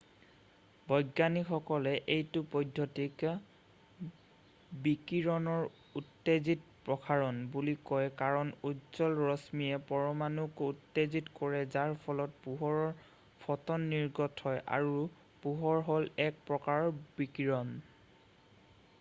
"বৈজ্ঞানিকসকলে এইটো পদ্ধতিক "বিকিৰণৰ উত্তেজিত প্ৰসাৰণ" বুলি কয় কাৰণ উজ্জ্বল ৰশ্মিয়ে পৰমাণুক উত্তেজিত কৰে যাৰ ফলত পোহৰৰ ফ'টন নিৰ্গত হয় আৰু পোহৰ হ'ল এক প্ৰকাৰৰ বিকিৰণ।""